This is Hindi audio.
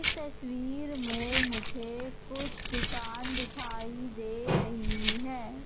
इस तस्वीर में मुझे कुछ दुकान दिखाई दे रही है।